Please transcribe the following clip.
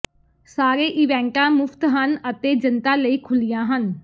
ਸਾਰੇ ਇਵੈਂਟਾਂ ਮੁਫ਼ਤ ਹਨ ਅਤੇ ਜਨਤਾ ਲਈ ਖੁੱਲ੍ਹੀਆਂ ਹਨ